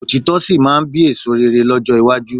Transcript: Òtítọ́ sì máa bí èso rere lọ́jọ́ iwájú